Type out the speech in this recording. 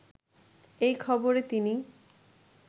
এই খবরে তিনি